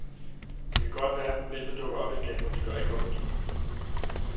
Det kan godt være, problemet dukker op igen, men det gør ikke ondt.